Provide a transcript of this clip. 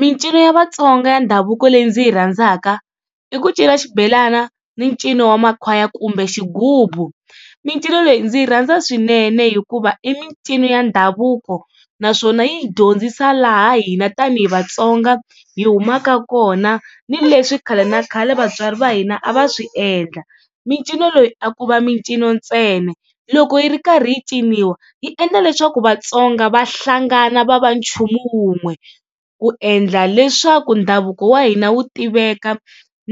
Micino ya Vatsonga ya ndhavuko leyi ndzi yi rhandzaka i ku cina xibelana ni ncino wa makhwaya kumbe xigubu. Micino leyi ndzi yi rhandza swinene hikuva i micino ya ndhavuko naswona yi hi dyondzisa laha hina tanihi Vatsonga hi humaka kona ni leswi khale na khale vatswari va hina a va swi endla. Micino leyi a ku va micino ntsena loko yi ri karhi yi ciniwa yi endla leswaku Vatsonga va hlangana va va nchumu wun'we ku endla leswaku ndhavuko wa hina wu tiveka